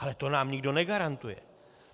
Ale to nám nikdo negarantuje.